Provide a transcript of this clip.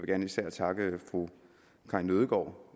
gerne især takke fru karin nødgaard